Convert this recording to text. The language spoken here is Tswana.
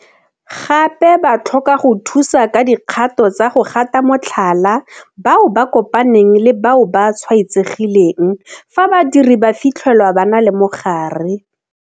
Gape ba tlhoka go thusa ka dikgato tsa go gata motlhala bao ba kopaneng le bao ba tshwaetsegileng fa badiri ba fitlhelwa ba na le mogare.